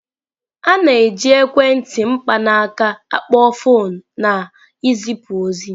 A na-eji ekwentị mkpanaaka akpo foọnụ na izipu ozi.